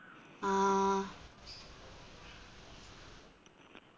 ആ